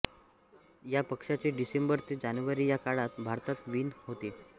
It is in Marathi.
या पक्ष्याची डिसेंबर ते जानेवारी या काळात भारतात वीण होते